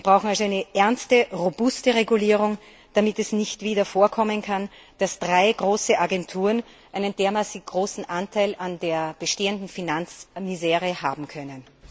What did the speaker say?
Wir brauchen eine ernste, robuste Regulierung, damit es nicht wieder vorkommen kann, dass drei große Agenturen einen dermaßen großen Anteil an der bestehenden Finanzmisere haben können.